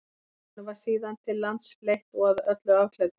honum var síðan til lands fleytt og að öllu afklæddur